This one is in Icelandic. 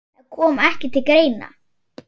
Það kom ekki til greina.